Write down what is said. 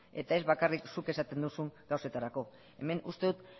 eta ez bakarrik zuk esaten duzun gauzetarako hemen uste dut